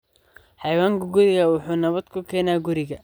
Xayawaanka gurigu waxay nabad ku keenaan guriga.